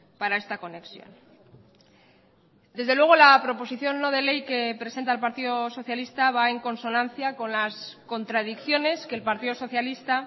para esta conexión desde luego la proposición no de ley que presenta el partido socialista va en consonancia con las contradicciones que el partido socialista